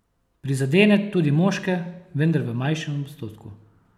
Prizadene tudi moške, vendar v manjšem odstotku.